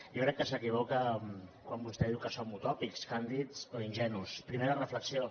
jo crec que s’equivoca quan vostè diu que som utòpics càndids o ingenus primera reflexió